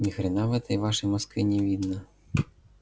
ни хрена в этой вашей москве не видно